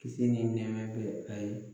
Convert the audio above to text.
Kisi ni nɛɛma bɛ a ye